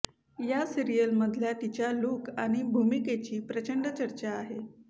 या सीरिअलमधल्या तिच्या लूक आणि भूमिकेची प्रचंड चर्चा आहे